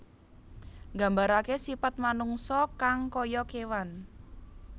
Nggambaraké sipat manungsa kang kaya kéwan